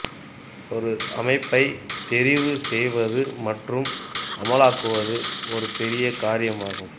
ஒரு அமைப்பை தெரிவு செய்வது மற்றும் அமலாக்குவது ஒரு பெரிய காரியம் ஆகும்